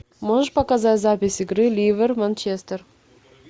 можешь показать запись игры ливер манчестер